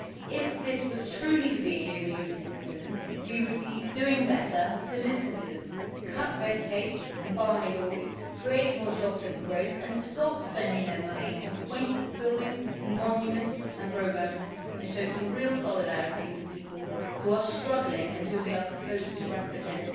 If this was truly to be a year for European citizens, we would do better to listen to them, cut red tape and barmy laws, create more jobs and growth and stop spending their money on pointless buildings, monuments and programmes and show some real solidarity with the people who are struggling and who we are supposed to represent.